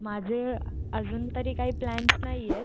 माझे अजूनतरी काही प्लॅन्स नाहीयेत